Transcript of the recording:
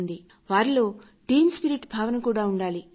వారిలో team spirit భావన కూడా ఉండాలి